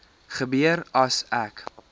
gebeur as ek